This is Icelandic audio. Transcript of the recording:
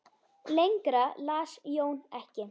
Lengra las Jón ekki.